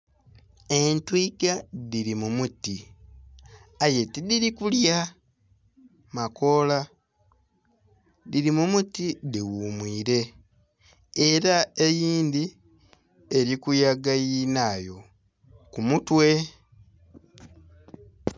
Etwiiga dhiri mumuti aye tidhiri kulya makola dhiri mumuti dhighumwiire era eyindhi erikuyaga yinhaayo kumutwe.